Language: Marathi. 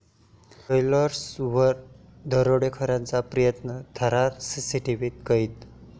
ज्वेलर्स'वर दरोड्याचा प्रयत्न, थरार सीसीटीव्हीत कैद